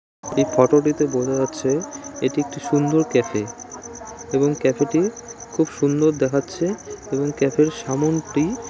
এই ফটো টিতে বোঝা যাচ্ছে এটি একটি সুন্দর ক্যাফে এবং ক্যাফে টি সুন্দর দেখাচ্ছে এবং ক্যাফ এর সামোনটি--